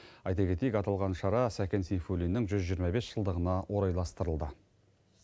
айта кетейік аталған шара сәкен сейфуллиннің жүз жиырма бес жылдығына орайластырылды